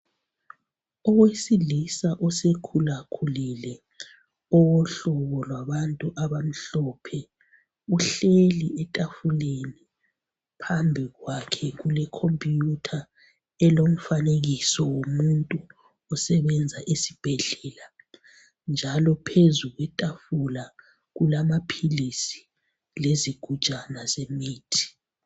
Owesilisa osekhula khulile owohlobo lwabantu abamhlophe. Uhleli etafuleni. Phambi kwakhe kule khompiyutha elomfanekiso womuntu osebenza esibhedlela. Njalo phezu kwetafula kulama philisi lezi gujana ze mithi.